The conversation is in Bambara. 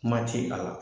Kuma ti a la